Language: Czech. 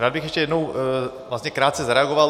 Rád bych ještě jednou krátce zareagoval.